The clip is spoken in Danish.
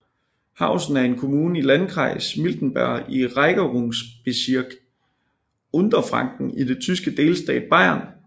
Hausen er en kommune i Landkreis Miltenberg i Regierungsbezirk Unterfranken i den tyske delstat Bayern